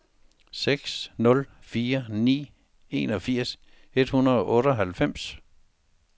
seks nul fire ni enogfirs et hundrede og otteoghalvfems